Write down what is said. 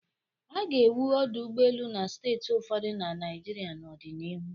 A ga-ewu ọdụ ụgbọelu na steeti ụfọdụ na Naịjirịa n'ọdịnihu.